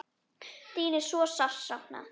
Þín er svo sárt saknað.